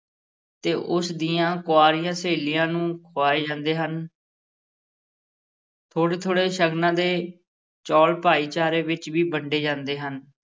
ਤੇ ਉਸ ਦੀਆਂ ਕੁਆਰੀਆਂ ਸਹੇਲੀਆਂ ਨੂੰ ਖੁਆਏ ਜਾਂਦੇ ਹਨ ਥੋੜ੍ਹੇ-ਥੋੜ੍ਹੇ ਸ਼ਗਨਾਂ ਦੇ ਚੌਲ ਭਾਈਚਾਰੇ ਵਿੱਚ ਵੀ ਵੰਡੇ ਜਾਂਦੇ ਹਨ।